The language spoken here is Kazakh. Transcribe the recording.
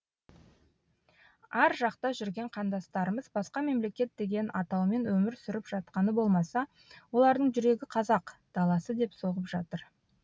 ар жақта жүрген қандастарымыз басқа мемлекет деген атаумен өмір сүріп жатқаны болмаса олардың жүрегі қазақ даласы деп соғып жатыр